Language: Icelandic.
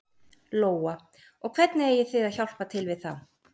Lóa: Og hvernig eigið þið að hjálpa til við það?